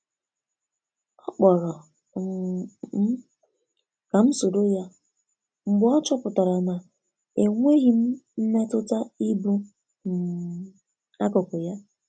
Ọ kpọrọ um m kam soro ya, mgbe ọ chọpụtara na enweghi m mmetụta ịbụ um akụkụ ya.